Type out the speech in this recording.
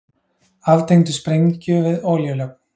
Aftengdu sprengju við olíulögn